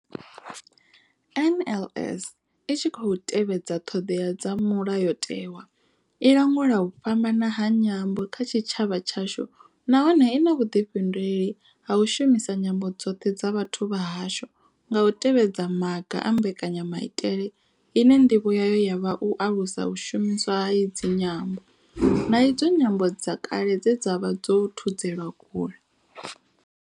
NLS I tshi khou tevhedza ṱhodea dza mulayotewa, i langula u fhambana ha nyambo kha tshitshavha tshashu nahone I na vhuḓifhinduleli ha u shumisa nyambo dzoṱhe dza vhathu vha hashu nga u tevhedza maga a mbekanyamaitele ine ndivho yayo ya vha u alusa u shumiswa ha idzi nyambo, na idzo nyambo dze kale dza vha dzo thudzelwa kule.